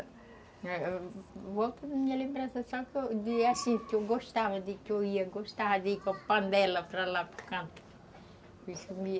Volta na minha lembrança, só que eu gostava de ir com a panela para lá para o canto